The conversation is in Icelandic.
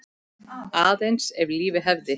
Aðeins ef lífið hefði.?